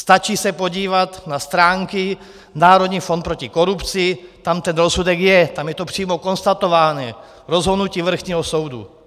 Stačí se podívat na stránky Národní fond proti korupci, tam ten rozsudek je, tam je to přímo konstatováno, rozhodnutí vrchního soudu.